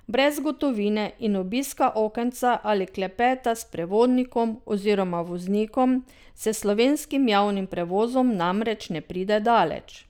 Brez gotovine in obiska okenca ali klepeta s sprevodnikom oziroma voznikom se s slovenskim javnim prevozom namreč ne pride daleč.